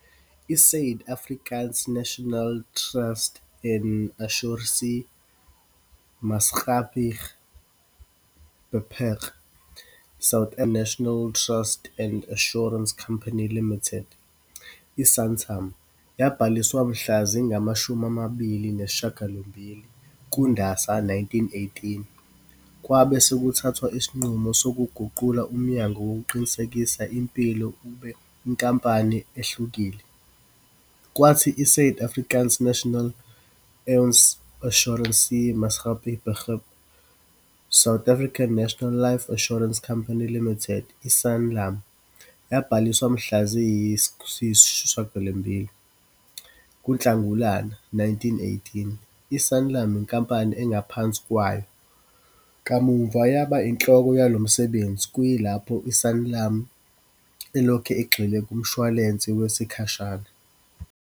I- Suid- Afrikaanse Nasionale Trust en Assuransie Maatskappij Beperk, South African National Trust and Assurance Company Limited, i-Santam, yabhaliswa mhla zingama shumi amabili nesishagalombili kuNdasa 1918. Kwabe sekuthathwa isinqumo sokuguqula umnyango wokuqinisekisa impilo ube inkampani ehlukile, kwathi i-Suid-Afrikaanse Nasionale Lewens Assuransie Maatskappij Beperk, South African National Life Assurance Company Limited, i-Sanlam, yabhaliswa mhla ziyisi sishagalombili kuNhlangulana 1918. I-Sanlam, inkampani engaphansi kwayo, kamuva yaba inhloko yalo msebenzi, kuyilapho u-Sanlam elokhu egxile kumshwalense wesikhashana.